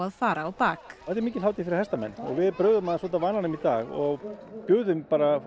fara á bak þetta er mikil hátíð fyrir hestamenn og við brugðum aðeins út af vananum í dag og buðum